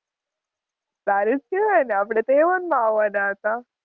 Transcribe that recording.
સારું જ કેવાય ને આપણે તો A one મા આવાનાં હતાં.